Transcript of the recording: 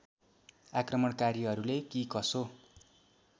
आक्रमणकारीहरूले कि कसो